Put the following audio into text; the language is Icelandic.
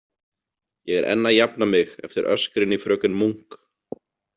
Ég er enn að jafna mig eftir öskrin í fröken Munk.